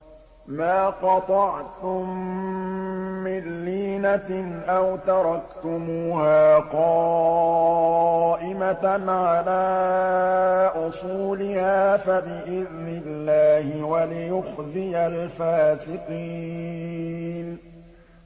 مَا قَطَعْتُم مِّن لِّينَةٍ أَوْ تَرَكْتُمُوهَا قَائِمَةً عَلَىٰ أُصُولِهَا فَبِإِذْنِ اللَّهِ وَلِيُخْزِيَ الْفَاسِقِينَ